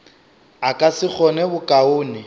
a ka se kgone bokaone